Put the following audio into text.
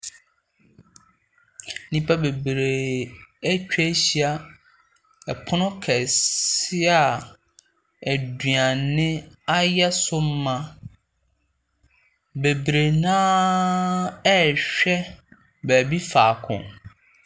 Nipa bebree etwa ehyia ɛpono kɛseɛ a eduane ayɛ so ma. Bebree na ɛɛhwɛ beebi faako.